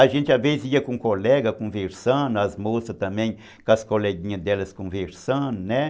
A gente, às vezes, ia com colega conversando, as moças também, com as coleguinhas delas conversando, né?